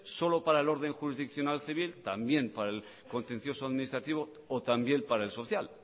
solo para el orden jurisdiccional civil también para el contencioso administrativa o también para el social